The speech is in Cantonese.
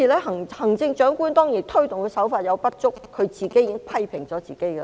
行政長官推動的手法有所不足，她已自我批評。